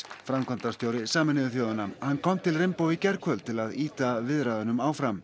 framkvæmdastjóri Sameinuðu þjóðanna hann kom til í gærkvöld til að ýta viðræðunum áfram